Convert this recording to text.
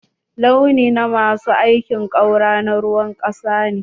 Launi na ma su aikin ƙaura na ruwan ƙasa ne.